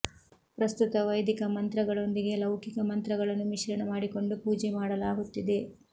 ಪ್ರಸ್ತುತ ವೈದಿಕ ಮಂತ್ರಗಳೊಂದಿಗೆ ಲೌಕಿಕ ಮಂತ್ರಗಳನ್ನು ಮಿಶ್ರಣ ಮಾಡಿಕೊಂಡು ಪೂಜೆ ಮಾಡಲಾಗುತ್ತಿದೆ